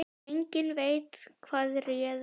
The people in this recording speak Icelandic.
Enginn veit hvað réði.